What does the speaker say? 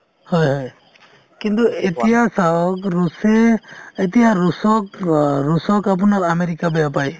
হয় হয় কিন্তু এতিয়া চাওক ৰুচে এতিয়া ৰুচক অ ৰুচক আপোনাৰ আমেৰিকাই বেয়া পায়